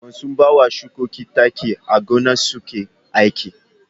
Masu bawa shukoki taki a gona suke aiki.